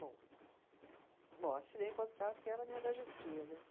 Bom, assinei o contrato e ela me agradecia, né?